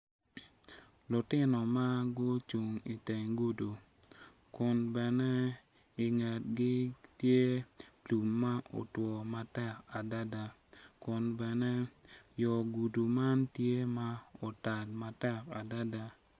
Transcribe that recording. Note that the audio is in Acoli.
Lutino ma gucung iteng gudo kun bene ingetgi tye lum ma otwo matek adada kun bene yo gudo man tye ma otal matek adada.